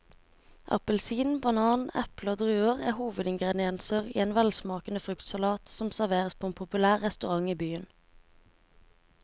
Appelsin, banan, eple og druer er hovedingredienser i en velsmakende fruktsalat som serveres på en populær restaurant i byen.